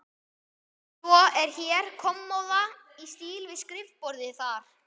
Svo er hér kommóða í stíl við skrifborðið þar.